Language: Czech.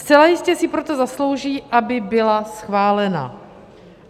Zcela jistě si proto zaslouží, aby byla schválena.